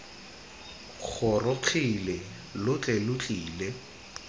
gorogile lo tle lo tlile